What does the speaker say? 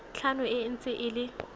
tlhano e ntse e le